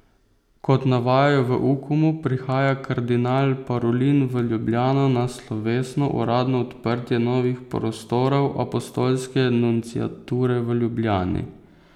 Kot navajajo v Ukomu, prihaja kardinal Parolin v Ljubljano na slovesno uradno odprtje novih prostorov apostolske nunciature v Ljubljani.